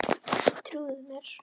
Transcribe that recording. Trúðu mér!